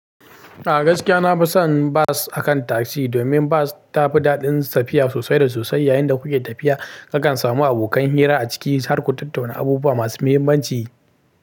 A gaskiya na fi son bus akan tasi domin bus tafi daɗin tafiya sosai da sosai. Yayinda kuke tafiya, zaka samu abokan hira a ciki har ku tattauna abubuwa masu muhimmanci.